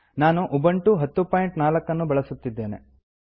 ನಾನು ಉಬಂಟು 1004 ನ್ನು ಬಳಸುತ್ತಿದ್ದೇನೆ